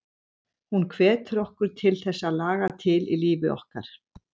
Hún hvetur okkur til að þess að laga til í lífi okkar.